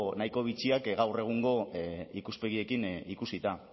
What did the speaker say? nahiko bitxiak gaur egungo ikuspegiekin ikusita